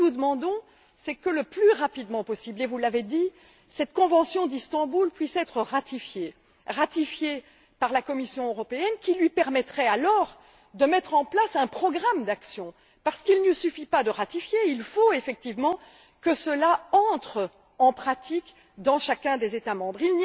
Nous demandons que, le plus rapidement possible et vous l'avez dit cette convention d'Istanbul puisse être ratifiée par la Commission européenne, qui pourrait alors mettre en place un programme d'actions parce qu'il ne suffit pas de ratifier, il faut effectivement que cela soit mis en pratique dans chacun des États membres.